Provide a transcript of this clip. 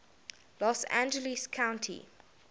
los angeles county